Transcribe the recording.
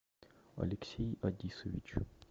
алексей адисович